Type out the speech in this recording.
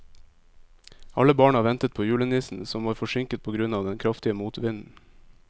Alle barna ventet på julenissen, som var forsinket på grunn av den kraftige motvinden.